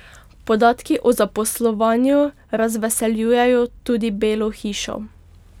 Podatki o zaposlovanju razveseljujejo tudi Belo hišo.